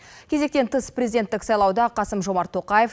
кезектен тыс президенттік сайлауда қасым жомарт тоқаев